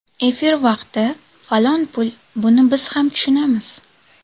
Efir vaqti falon pul, buni biz ham tushunamiz.